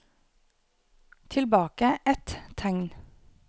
Tilbake ett tegn